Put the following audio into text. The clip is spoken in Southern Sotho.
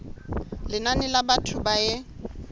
lenane la batho ba e